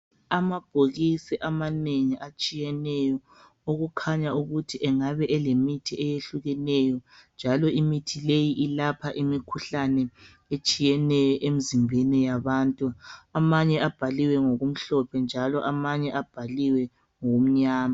Amabhokisi amanengi atshiyeneyo okukhanya ukuthi engabe elemithi eyehlukeneyo njalo imithi leyo ilapha imikhuhlane etshiyeneyo emzimbeni yabantu amanye abhaliwe ngokumhlophe njalo amanye abhaliwe ngokumnyama